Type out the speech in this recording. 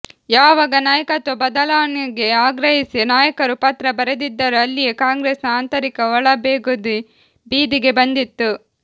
ಯಾವಾಗ ನಾಯಕತ್ವ ಬದಲಾವಣೆಗೆ ಆಗ್ರಹಿಸಿ ನಾಯಕರು ಪತ್ರ ಬರೆದಿದ್ದರೋ ಅಲ್ಲಿಯೇ ಕಾಂಗ್ರೆಸ್ ನ ಆಂತರಿಕ ಒಳಬೇಗುದಿ ಬೀದಿಗೆ ಬಂದಿತ್ತು